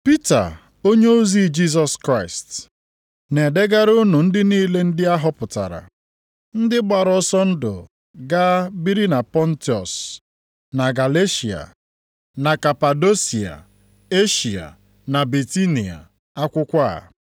Pita, onyeozi Jisọs Kraịst, Na-edegara unu ndị niile ndị a họpụtara, ndị gbara ọsọ ndụ gaa biri na Pọntọs, na Galeshịa, na Kapadosia, Eshịa na Bitinia, akwụkwọ a.